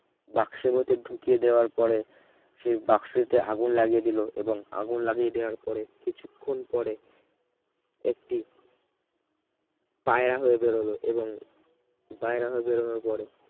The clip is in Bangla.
বাক্সের ভেতর ঢুকিয়ে দেওয়ার পরে সেই বাক্সোতে আগুন লাগিয়ে দিল এবং আগুন লাগিয়ে দেয়ার পরে কিছুক্ষণ পরে একটি পায়রা হয়ে বের হল এবং পায়রা হয়ে বেরোনোর পরে